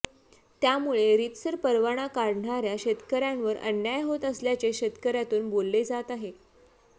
त्यामुळे रितसर परवाना काढणार्या शेतकर्यांवर अन्याय होत असल्याचे शेतकर्यातून बोलले जात आहे